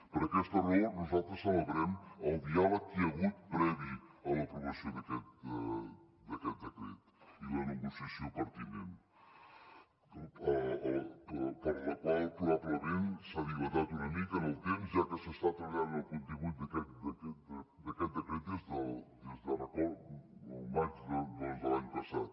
per aquesta raó nosaltres celebrem el diàleg que hi ha hagut previ a l’aprovació d’aquest decret i la negociació pertinent la qual probablement s’ha dilatat una mica en el temps ja que s’està treballant en el contingut d’aquest decret des del maig doncs de l’any passat